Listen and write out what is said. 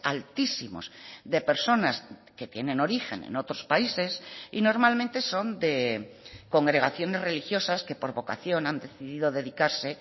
altísimos de personas que tienen origen en otros países y normalmente son de congregaciones religiosas que por vocación han decidido dedicarse